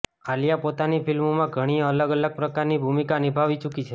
આલિયા પોતાની ફિલ્મોમાં ધણી અલગ અલગ પ્રકારની ભૂમિકા નિભાવી ચુકી છે